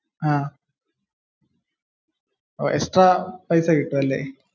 അഹ്. extra പൈസ കിട്ടും അല്ലെ?